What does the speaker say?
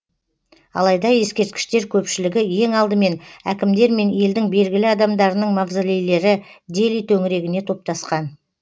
алайда ескерткіштер көпшілігі ең алдымен әкімдер мен елдің белгілі адамдарының мавзолейлері дели төңірегіне топтасқан